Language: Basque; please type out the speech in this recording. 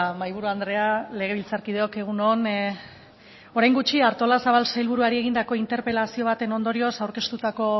mahaiburu andrea legebiltzarkideok egun on orain gutxi artolazabal sailburuari egindako interpelazio baten ondorioz aurkeztutako